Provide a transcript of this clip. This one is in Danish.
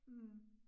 Mh